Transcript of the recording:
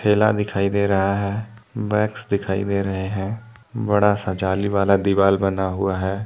किला दिखाई दे रहा है। बैग्स दिखाई दे रहे हैं। बड़ा-सा जाली वाला दीवाल बना हुआ है।